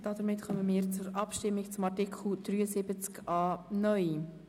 Damit kommen wir zur Abstimmung über den Artikel 73a (neu).